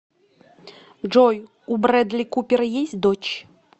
джой у брэдли купера есть дочь